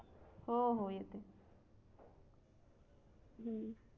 हो हो येते हम